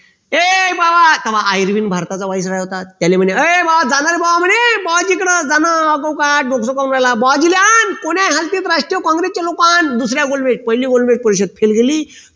ये भावा भारताचा होता त्याले म्हणले ये भावा जाणारे भावा म्हणे बुआजींकडे बुआजिले आन राष्ट्रीय काँग्रेस चे लोक अन दुसऱ्या गोलबेज पहिल्या गोलबेज परीक्षेत fail गेली